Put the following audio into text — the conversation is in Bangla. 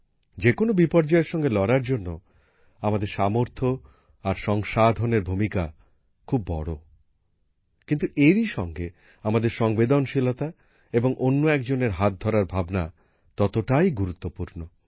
যে কোনও বিপর্যয়ের সঙ্গে লড়ার জন্য আমাদের সামর্থ্য আর ক্ষমতার ভূমিকা খুব বড় কিন্তু এরই সঙ্গে আমাদের সংবেদনশীলতা এবং অন্য একজনের হাত ধরার ভাবনা ততটাই গুরুত্বপূর্ণ